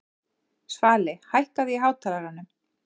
Svali, hækkaðu í hátalaranum.